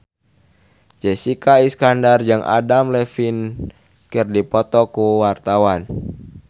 Jessica Iskandar jeung Adam Levine keur dipoto ku wartawan